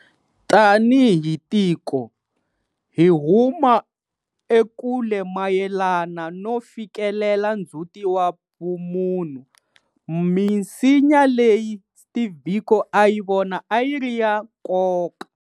Tanihi tiko, hi huma ekule mayelana no fikelela ndzhuti wa vumunhu, misinya leyi Steve Biko a yi vona yi ri ya nkoka.